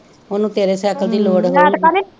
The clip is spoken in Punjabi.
ਉਹਨੂੰ ਤੇਰੇ ਸੈਕਲ ਦੀ ਲੋੜ ਹੋਊਗੀ